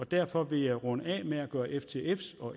derfor vil jeg runde af med at gøre ftf’s og